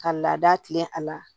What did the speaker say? Ka laada tilen a la